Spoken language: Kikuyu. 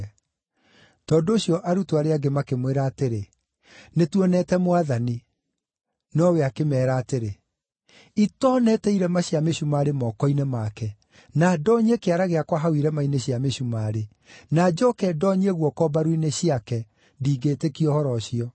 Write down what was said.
Tondũ ũcio arutwo arĩa angĩ makĩmwĩra atĩrĩ, “Nĩtuonete Mwathani.” Nowe akĩmeera atĩrĩ, “Itoonete irema cia mĩcumarĩ moko-inĩ make, na ndoonyie kĩara gĩakwa hau irema-inĩ cia mĩcumarĩ, na njooke ndoonyie guoko mbaru-inĩ ciake, ndingĩĩtĩkia ũhoro ũcio.”